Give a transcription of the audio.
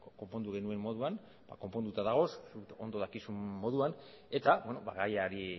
konpondu genuen moduan konponduta dagoz zuk ondo dakizun moduan eta gaiari